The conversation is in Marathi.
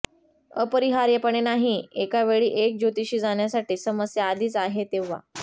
अपरिहार्यपणे नाही एका वेळी एक ज्योतिषी जाण्यासाठी समस्या आधीच आहे तेव्हा